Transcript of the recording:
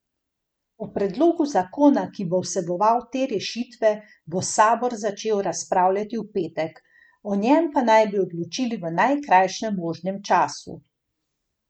O predlogu zakona, ki bo vseboval te rešitve, bo sabor začel razpravljati v petek, o njem pa naj bi odločili v najkrajšem možnem času.